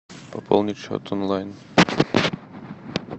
пополнить счет онлайн